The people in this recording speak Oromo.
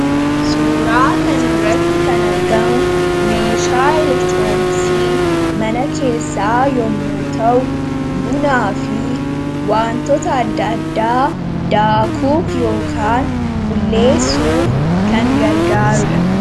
Suuraa kanarratti kan argamu meeshaa elektirooniksii mana keessaa yommuu ta'u, bunaa fi waantota adda addaa daakuuf ( bulleessuuf) kan gargaaru dha.